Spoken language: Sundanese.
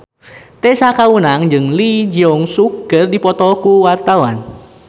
Tessa Kaunang jeung Lee Jeong Suk keur dipoto ku wartawan